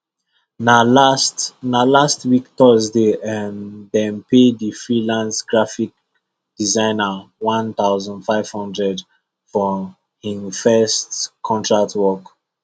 na last na last week thursday um dem pay the freelance graphic designer one thousand for hin first contact work